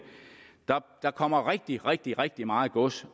der kommer rigtig rigtig rigtig meget gods